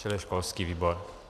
Čili školský výbor.